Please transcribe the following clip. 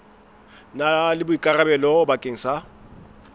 na le boikarabelo bakeng sa